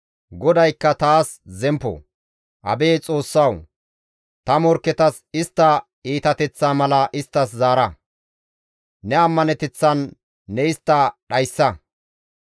Abeet Xoossawu! Ta morkketas istta iitateththaa mala isttas zaara. Ne ammaneteththan ne istta dhayssa.